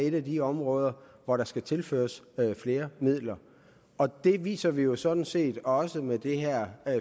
et af de områder hvor der skal tilføres flere midler og det viser vi jo sådan set også med det her